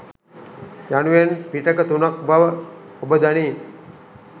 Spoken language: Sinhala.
යනුවෙන් පිටක තුනක් බව ඔබ දනී.